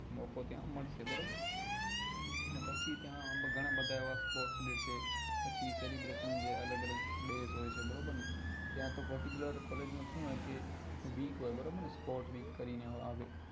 મોકો ત્યાં મળશે બરાબર ને પછી ત્યાં ગણા બધા sport day છે પછી celebration જે અલગ અલગ days હોય છે બરોબર ને ત્યાં તો particular collage માં શું હોય કે week હોય બરાબર ને sport week કરી ને આવે